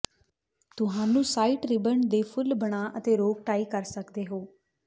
ਤੁਹਾਨੂੰ satin ribbon ਦੇ ਫੁੱਲ ਬਣਾ ਅਤੇ ਰੋਕ ਟਾਈ ਕਰ ਸਕਦੇ ਹੋ